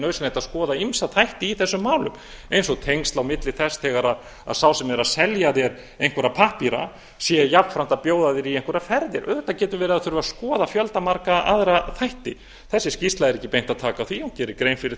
nauðsynlegt að skoða ýmsa þætti í þessum málum eins og tengsl á milli þess þegar sá sem er að selja þér einhverja pappíra séu jafnframt að bjóða þér í einhverjar ferðir auðvitað getur verið að það þurfi að skoða fjöldamargra aðra þætti þessi skýrsla er ekki beint að taka á því hún gerir grein fyrir